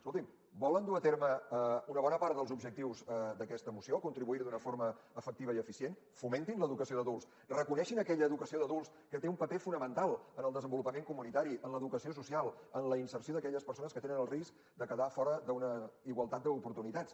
escoltin volen dur a terme una bona part dels objectius d’aquesta moció contribuir hi d’una forma efectiva i eficient fomentin l’educació d’adults reconeguin aquella educació d’adults que té un paper fonamental en el desenvolupament comunitari en l’educació social en la inserció d’aquelles persones que tenen el risc de quedar fora d’una igualtat d’oportunitats